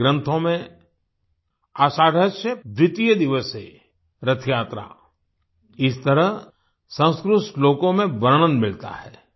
हमारे ग्रंथों में आषाढस्य द्वितीयदिवसेरथयात्रा इस तरह संस्कृत श्लोकों में वर्णन मिलता है